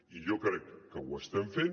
i jo crec que ho estem fent